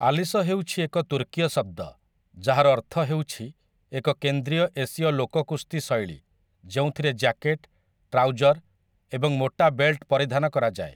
Ellyse ହେଉଛି ଏକ ତୁର୍କୀୟ ଶବ୍ଦ ଯାହାର ଅର୍ଥ ହେଉଛି ଏକ କେନ୍ଦ୍ରୀୟ ଏସୀୟ ଲୋକକୁସ୍ତି ଶୈଳୀ ଯେଉଁଥିରେ ଜ୍ୟାକେଟ, ଟ୍ରାଉଜର ଏବଂ ମୋଟା ବେଲ୍ଟ ପରିଧାନ କରାଯାଏ ।